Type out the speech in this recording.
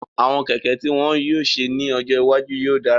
Àwọn kẹ̀kẹ́ tí wọ́n yóò ṣe ní ọjọ́ iwájú yóò dára